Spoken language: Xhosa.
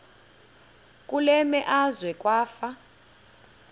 kule meazwe kwafa